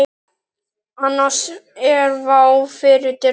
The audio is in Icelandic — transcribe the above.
Annars er vá fyrir dyrum.